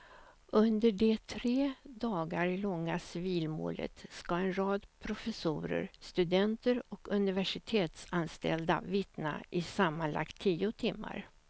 Under det tre dagar långa civilmålet ska en rad professorer, studenter och universitetsanställda vittna i sammanlagt tio timmar.